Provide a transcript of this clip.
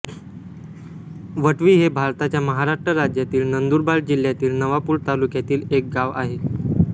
वटवी हे भारताच्या महाराष्ट्र राज्यातील नंदुरबार जिल्ह्यातील नवापूर तालुक्यातील एक गाव आहे